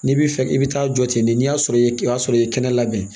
N'i bɛ fɛ i bɛ taa jɔ ten n'i y'a sɔrɔ i ye i b'a sɔrɔ i ye kɛnɛ labɛn